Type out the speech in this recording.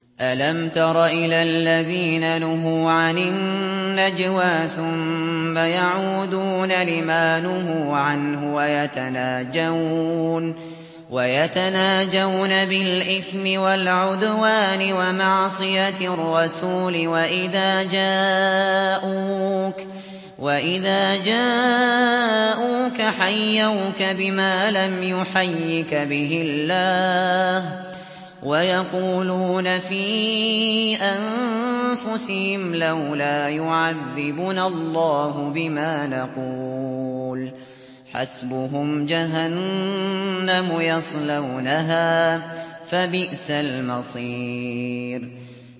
أَلَمْ تَرَ إِلَى الَّذِينَ نُهُوا عَنِ النَّجْوَىٰ ثُمَّ يَعُودُونَ لِمَا نُهُوا عَنْهُ وَيَتَنَاجَوْنَ بِالْإِثْمِ وَالْعُدْوَانِ وَمَعْصِيَتِ الرَّسُولِ وَإِذَا جَاءُوكَ حَيَّوْكَ بِمَا لَمْ يُحَيِّكَ بِهِ اللَّهُ وَيَقُولُونَ فِي أَنفُسِهِمْ لَوْلَا يُعَذِّبُنَا اللَّهُ بِمَا نَقُولُ ۚ حَسْبُهُمْ جَهَنَّمُ يَصْلَوْنَهَا ۖ فَبِئْسَ الْمَصِيرُ